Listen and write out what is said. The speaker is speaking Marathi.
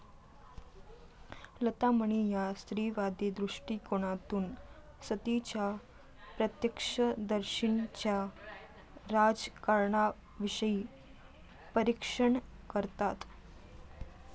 लता मणी या स्त्रीवादी दृष्टिकोनातून सतीच्या प्रत्यक्षदर्शींच्या राजकारणाविषयी परीक्षण करतात.